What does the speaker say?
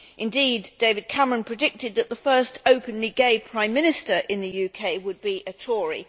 Indeed David Cameron predicted that the first openly gay Prime Minister in the UK would be a Tory.